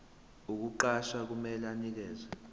ukukuqasha kumele anikeze